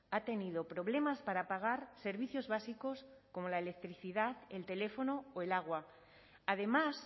ha tenido problemas para pagar servicios básicos como la electricidad el teléfono o el agua además